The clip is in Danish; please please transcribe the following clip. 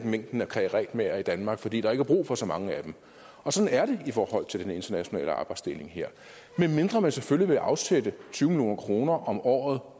mængden af karetmagere i danmark fordi der ikke er brug for så mange af dem og sådan er det i forhold til den internationale arbejdsdeling her medmindre man selvfølgelig afsætte tyve million kroner om året